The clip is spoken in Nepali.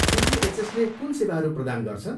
सिजिएचएसले कुन सेवाहरू प्रदान गर्छ?